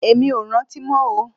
Èmi ò rántí mọ́ o